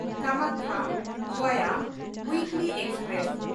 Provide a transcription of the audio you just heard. ᱠᱟᱢᱟᱠᱠᱷᱟ–ᱜᱚᱭᱟ ᱩᱭᱤᱠᱞᱤ express